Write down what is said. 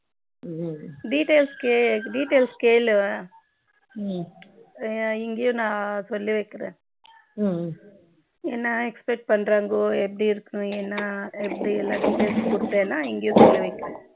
details கே details கேளு இங்கயும் நா சொல்லி வைக்கிறேன் என்ன expect பண்றாங்கோ எப்படி இருக்கனும் என்ன எப்படி எல்லா details யும் கொடுத்தினா இங்கேயும் சொல்லி வைக்கிறேன்